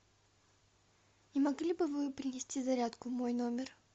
не могли бы вы принести зарядку в мой номер